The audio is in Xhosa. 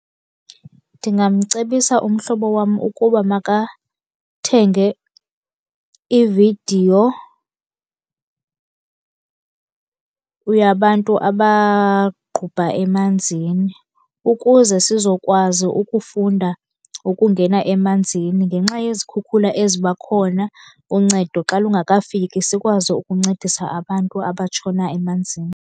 Ndingamcebisa umhlobo wam ukuba makathenge ividiyo yabantu abaqubha emanzini, ukuze sizokwazi ukufunda ukungena emanzini. Ngenxa yezikhukhula eziba khona, uncedo xa lungakafiki sikwazi ukuncedisa abantu abatshona emanzini.